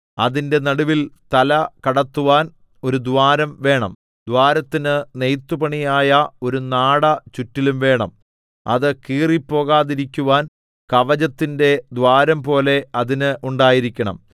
അതിന്റെ നടുവിൽ തല കടത്തുവാൻ ഒരു ദ്വാരം വേണം ദ്വാരത്തിന് നെയ്ത്തുപണിയായ ഒരു നാട ചുറ്റിലും വേണം അത് കീറിപ്പോകാതിരിക്കുവാൻ കവചത്തിന്റെ ദ്വാരംപോലെ അതിന് ഉണ്ടായിരിക്കണം